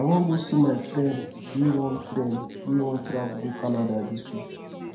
i wan go see my friend wey wan friend wey wan travel go canada dis week